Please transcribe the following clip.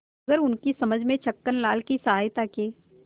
मगर उनकी समझ में छक्कनलाल की सहायता के